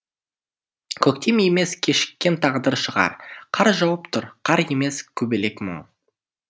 көктем емес кешіккен тағдыр шығар қар жауып тұр қар емес көбелек мұң